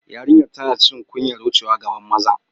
Yariyan tanna jin kunyar wucewa gaban mazan.